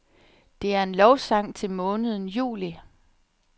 Det er en lovsang til måneden juli.